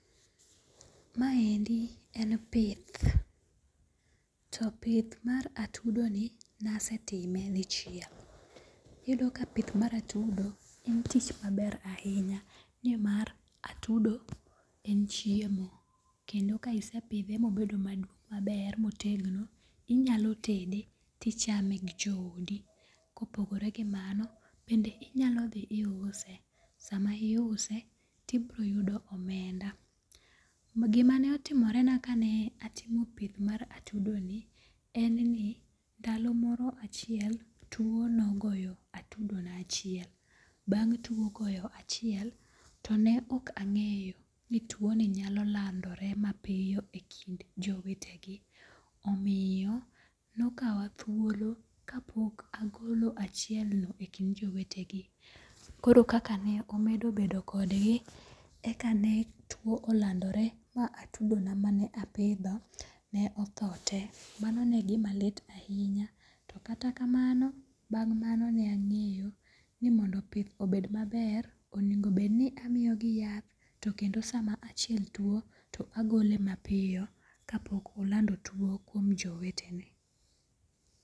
Maendi en pith, to pith mar atudoni nasetime dichiel, iyudo ka pith ma atudo en tich maber ahinya nimar atudo en chiemo kendo ka isepithe ma obedo maber maduong' maber motegno inyalo tede to ichame gi joodi, kopogore gi mano bende inyalo thi iuse, sama iuse ti broyudo omenda, gimane otimorena kane atimo pith mar atudoni en ni ndalomoro achiel tuo nogoyo atudona achiel bang' tuo goyo achiel to ne ok ange'yo ni tuoni nyalo landore mapiyo e kind jowetegi omiyo nokawa thuolo ka pok agolo achiel ni e kind jowetegi, koro kaka ne amedo bedo kodgi ekane tuwo olandore mane atudona mane apitho ne otho tee mano ne gima ne gima litna ahinya , to kata kamano bang' mano ne ange'yo ni mondo obed maber onego bed ni amiyogi yath to kendo sama achiel tu to agole mapiyo ka pok olando tuo kuom jowetene.